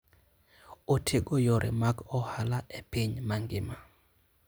Otego yore mag ohala e piny mangima.